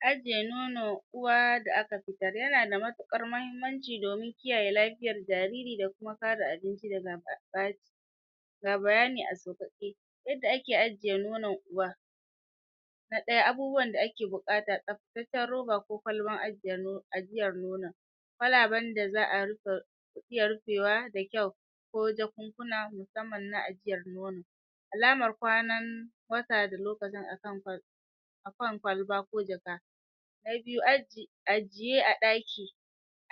ajiye nono uwa da aka fitar, yana da matuƙar mahimmanci domin kiyaye lafiyar jariri da kuma kare abinci daga ɓaci ga bayani a sauƙaƙe yadda ake ajiye nonon uwa na ɗaya abubuwan da ake buƙata tsabtataccen roba ko kwalbar ajiye ajiyar nonon kwalaben da za'a rufe iya rufewa da kyau ko jakunkuna musamman na ajiyar nono alamar kwanan wata da lokacin akan kwalba ko jaka na biyu ajiye a ɗaki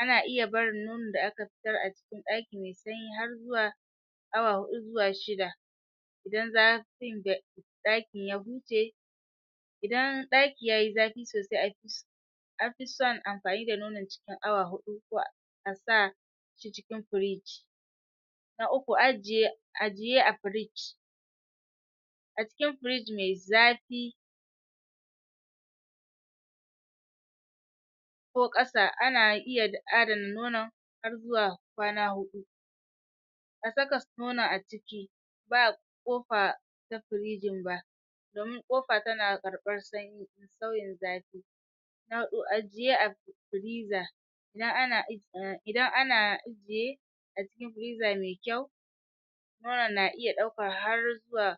ana iya barin nonon da aka fitar a cikin ɗaki me sanyi har zuwa awa huɗu zuwa shida idan ɗakin ya huce idan ɗaki yayi zafi sosai an fi son amfani da nonon cikin awa huɗu ko a sa shi cikin fridge na uku ajiye a fridge a cikin fridge me zafi ko ƙasa ana iya adana nonon har zuwa kwana huɗu a saka su nonon a ciki ba ƙofa na firijin ba domin ƙofa tana karɓan sanyi sauyin zafi na huɗu ajiye a freezer idan ana idan ana ijiye a cikin freezer me kyau nonon na iya ɗaukar har zuwa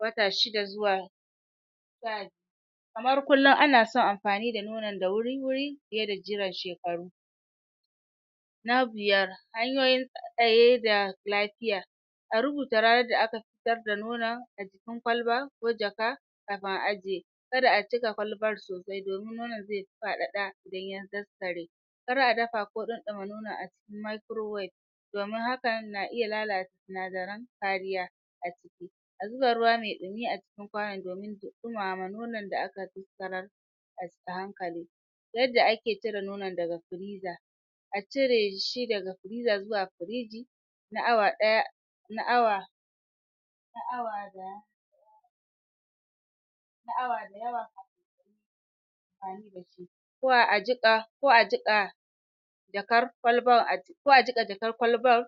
wata shida zuwa wata kamar kullum ana son amfani da nonon da wuri-wuri fiye da jiran shekaru na biyar hanyoyin tsaye da lafiya a rubuta ranar da aka fitar da nonon a jikin kwalba ko jaka kafin a ajiye kada a cika kwalbar sosai domin nonon ze faɗaɗa idan ya daskare kar a dafa ɗanɗana nonon a cikin microwave damin hakan na iya lala sinadaran kariya a ciki a zuba ruwa me ɗumi a cikin kwanon domin ɗumama nonon da aka daskarar a hankali yanda ake cire nonon daga freezer a cire shi daga freezer zuwa firiji na awa ɗaya na awa na awa da na awa da yawa ko a jiƙa jakar kwalbar ko a jiƙa jakar kwalbar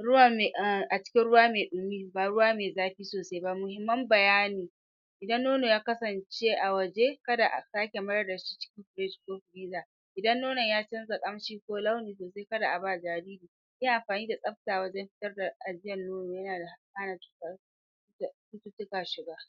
ruwa me um a cikin ruwa me ɗumi ba ruwa me zafi sosai ba, muhimman bayani idan nono ya kasance a waje, kada a sake mayar da shi cikin firij ɗin idan nonon ya canza ƙamshi ko launi kada a ba jariri yi amfani da tsabta wajen fitar da ajiyan nono yana da hana cuta da cututtuka shiga